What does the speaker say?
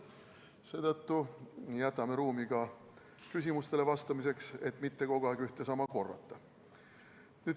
Seetõttu jätan ruumi ka küsimustele vastamiseks, et mitte kogu aeg ühte ja sama korrata.